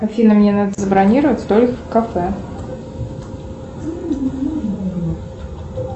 афина мне надо забронировать столик в кафе